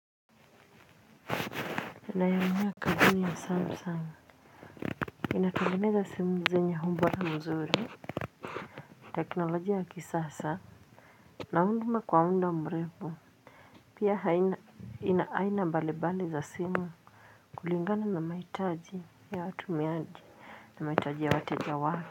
Naiaminia kampuni ya samsung. Inatangeneza simu zenya ubora mzuri. Teknolojia ya kisasa na huduma kwa muda mrefu. Pia haina inaaina mbalibali za simu. Kulingana na mahitaji ya watumiaji na mahitaji ya watejawake.